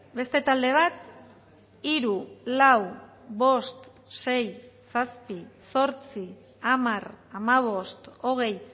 beste talde bat hiru lau bost sei zazpi zortzi hamar hamabost hogei